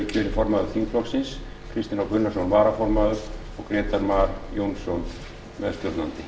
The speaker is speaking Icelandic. formaður þingflokksins kristinn h gunnarsson varaformaður og grétar mar jónsson meðstjórnandi